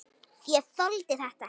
Ég þoldi þetta ekki.